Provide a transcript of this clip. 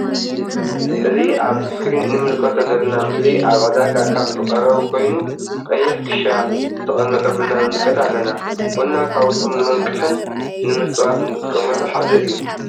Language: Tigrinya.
እዚ አብ እስክሪን እንምልከቶ ዘለና ምስሊ አብ ዕዳጋ ካብ ዝቀረቡ ኮይኑ::ቀይሕ ክሻ ዝተቀመጠ ቡና ንምከት አለና::ቡና ካብቶም ንመንቅሕን ንክምፃወት እንጥቀመሉ ሓደ እዩ::